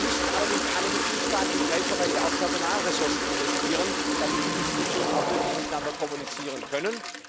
Da müssten allerdings alle Mitgliedstaaten in gleicher Weise auch Personalressourcen investieren, damit die Institutionen auch wirklich miteinander kommunizieren können.